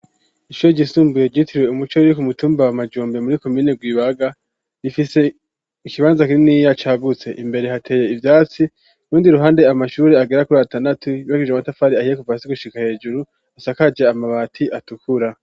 Ishure ryisumbuye rytirwe umuce weri kumutumba wa majombe muri komine rwibaga rifise ikibanza kininiya cagutse imbere hateye ivyatsi ku rundi ruhande amashuri agera kuri atandatu yubakishije amatafari ahiye kuva hasi gushika hejuru asakaje amabati atukura.